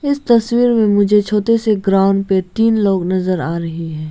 इस तस्वीर में मुझे छोटे से ग्राउंड पे तीन लोग नजर आ रहे हैं।